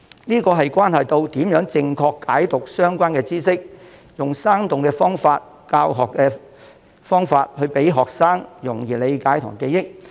這關係到如何正確解讀相關知識，利用生動的方法和教學技巧，讓學生容易理解和記憶。